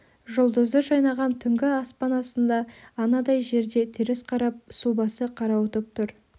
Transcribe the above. жұлдызы жайнаған түнгі аспан астында анадай жерде теріс қарап сұлбасы қарауытып тұр